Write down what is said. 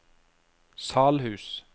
Salhus